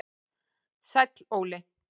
Sæll Óli